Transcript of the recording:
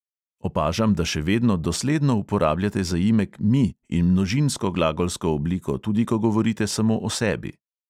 Opažam, da še vedno dosledno uporabljate zaimek "mi" in množinsko glagolsko obliko, tudi ko govorite samo o sebi.